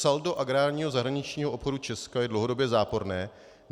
Saldo agrárního zahraničního obchodu Česka je dlouhodobě záporné.